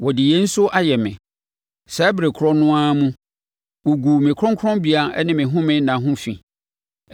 Wɔde yei nso ayɛ me: Saa ɛberɛ korɔ no ara mu, wɔguu me kronkronbea ne me home nna ho fi.